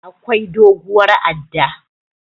Akwai doguwar adda.